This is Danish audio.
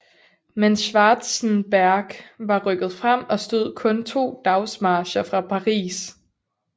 Men Schwarzenberg var rykket frem og stod kun 2 dagsmarcher fra Paris